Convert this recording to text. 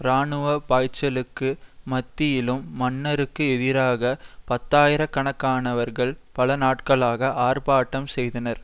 இராணுவ பாய்ச்சலுக்கு மத்தியிலும் மன்னருக்கு எதிராக பத்தாயிரக்கணக்கானவர்கள் பல நாட்களாக ஆர்ப்பாட்டம் செய்தனர்